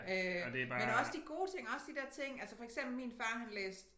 Øh men også de gode ting også de der ting altså for eksempel min far han læste